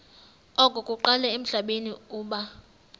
okokuqala emhlabeni uba